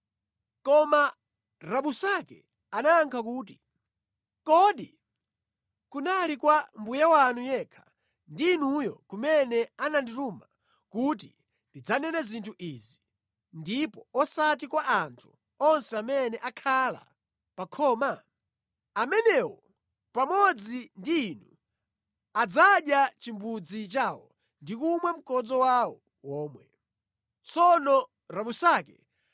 Koma Rabusake anayankha kuti, “Kodi mbuye wanga wandituma kuti ndidzanene zinthu izi kwa mbuye wanu yekha ndi inu nokha basi? Ayi, komanso kwa anthu amene akhala pa khomawa. Iwowa adzadya chimbudzi chawo chomwe ndi kumwa mkodzo wawo womwe monga momwe mudzachitire inuyonso.”